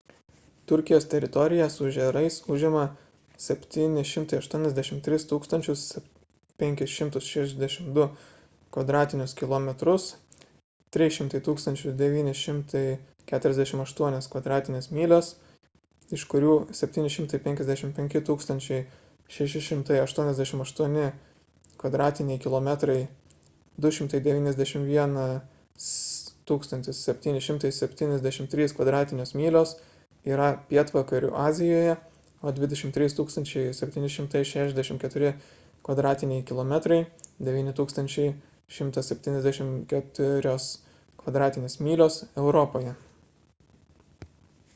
turkijos teritorija su ežerais užima 783 562 kvadratinius kilometrus 300 948 kv. myl. iš kurių 755 688 kvadratiniai kilometrai 291 773 kv. myl. yra pietvakarių azijoje o 23 764 kvadratiniai kilometrai 9 174 kv. myl. – europoje